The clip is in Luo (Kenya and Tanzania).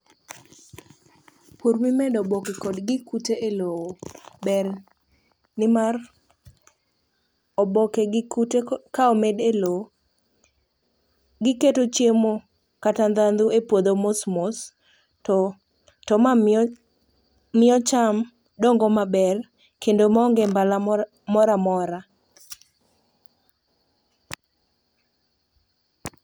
Pur mimedo oboke kod gik kute elowo ber nimar oboke gi kute ko ka omede lowo, giketo chiemo kata ndandhu e puodho mosmos, to to ma mio mio cham dongo maber kendo maonge mbala mor moramora.